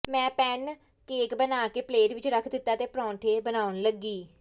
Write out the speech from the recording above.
ਮੈਂ pancake ਬਣਾ ਕੇ ਪਲੇਟ ਵਿੱਚ ਰੱਖ ਦਿੱਤਾ ਤੇ ਪਰਾਂਠੇ ਬਣਾਉਣ ਲੱਗੀ